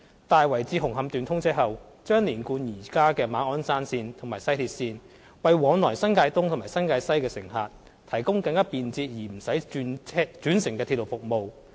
在"大圍至紅磡段"通車後，將連貫現時的馬鞍山線及西鐵線，為往來新界東及新界西的乘客提供更便捷而不用轉乘的鐵路服務。